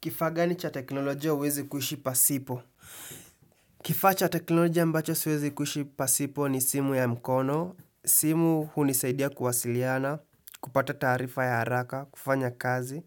Kifaa gani cha teknolojia huwezi kuhishi pasipo? Kifaa cha teknolojia ambacho siwezi kuishi pasipo ni simu ya mkono. Simu hunisaidia kuwasiliana, kupata taarifa ya haraka, kufanya kazi